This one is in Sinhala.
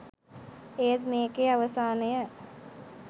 ඒත් මේකෙ අවසානය